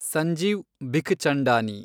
Sanjeev Bikhchandani